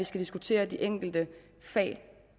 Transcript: skal diskutere de enkelte fag